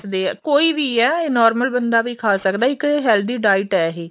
ਦੇ ਆ ਕੋਈ ਵੀ ਆ ਇਹ normal ਬੰਦਾ ਵੀ ਖਾ ਸਕਦਾ ਏ ਇੱਕ healthy diet ਆ ਇਹ